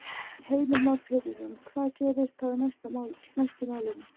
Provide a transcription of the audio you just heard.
Heimir Már Pétursson: Hvað gerist þá næst í málinu?